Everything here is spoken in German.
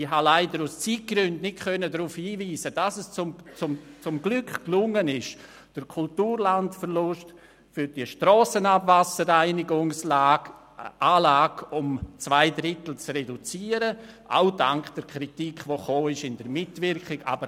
Ich konnte leider aus Zeitgründen nicht darauf hinweisen, dass es zum Glück gelungen ist, den Kulturlandverlust für die Strassenabwasserreinigungsanlage um zwei Drittel zu reduzieren – auch dank der Kritik, die durch die Mitwirkung eingebracht wurde.